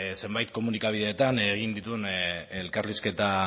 zenbait komunikabideetan egin dituen elkarrizketa